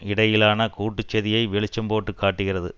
இடையிலான கூட்டு சதியை வெளிச்சம் போட்டு காட்டுகிறது